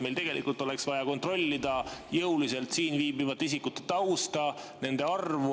Meil tegelikult oleks vaja jõuliselt kontrollida siin viibivate isikute tausta ja nende arvu.